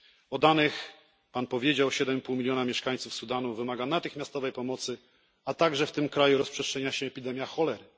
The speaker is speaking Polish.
O danych już Pan mówił 7,5 miliona mieszkańców Sudanu wymaga natychmiastowej pomocy, ponadto w tym kraju rozprzestrzenia się epidemia cholery.